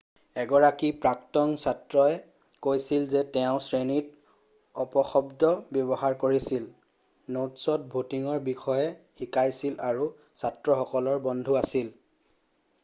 এগৰাকী প্ৰাক্তন ছাত্ৰই কৈছিল যে তেওঁ 'শ্ৰেণীত অপশব্দ ব্যৱহাৰ কৰিছিল নোটছত ডেটিঙৰ বিষয়ে শিকাইছিল আৰু ছাত্ৰসকলৰ বন্ধু আছিল।'